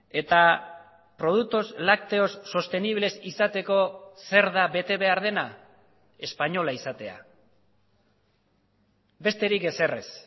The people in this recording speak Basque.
eta productos lácteos sostenibles izateko zer da bete behar dena espainola izatea besterik ezer ez